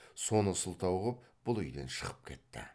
соны сылтау қып бұл үйден шығып кетті